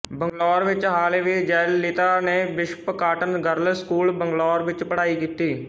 ਬੰਗਲੌਰ ਵਿੱਚ ਹਾਲੇ ਵੀ ਜੈਲਲਿਤਾ ਨੇ bishop cotton girls school Bangalore ਵਿੱਚ ਪੜ੍ਹਾਈ ਕੀਤੀ